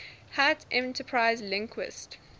hat enterprise linux